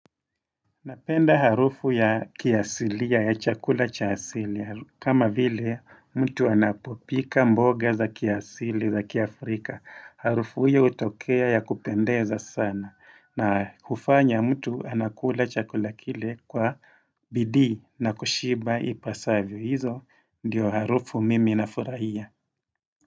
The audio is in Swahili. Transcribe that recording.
Napenda harufu ya kiasilia ya chakula cha asilia kama vile mtu anapopika mboga za kiasili za kia Afrika. Harufu hiyo hutokea ya kupendeza sana na hufanya mtu anakula chakula kile kwa bidii na kushiba ipasavyo hizo ndiyo harufu mimi nafuraia.